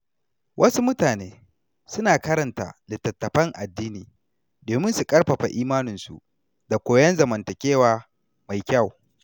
Wasu mutane suna karanta littattafan addini domin su ƙarfafa imaninsu da koyon zamantakewa mai kyau.